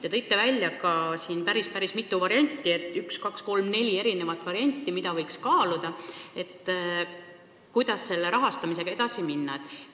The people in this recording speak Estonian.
Te tõite välja päris mitu varianti, neli varianti, kuidas rahastamisega edasi minna, mida võiks kaaluda.